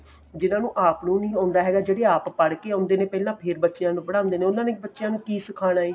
ਜਿਨ੍ਹਾਂ ਨੂੰ ਆਪ ਨੂੰ ਨੀਂ ਆਉਂਦਾ ਹੈਗਾ ਜਿਹੜੇ ਆਪ ਪੜਕੇ ਆਉਂਦੇ ਨੇ ਪਹਿਲਾਂ ਫੇਰ ਬੱਚਿਆਂ ਨੂੰ ਪੜਾਊਂਦੇ ਨੇ ਉਹਨਾ ਨੇ ਬੱਚਿਆਂ ਨੂੰ ਕੀ ਸਿਖਾਣਾ ਏ